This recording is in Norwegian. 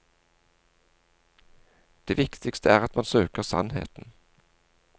Det viktigste er at man søker sannheten.